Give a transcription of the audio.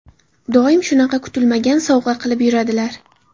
Doim shunaqa kutilmagan sovg‘a qilib yuradilar.